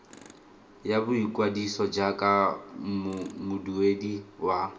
ya boikwadiso jaaka moduedi wa